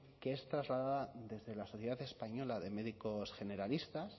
que es trasladada desde la sociedad española de médicos generalistas